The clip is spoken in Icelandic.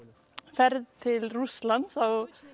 ferð til Rússlands á